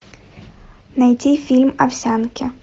найти фильм овсянки